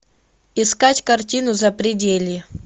искать картину запределье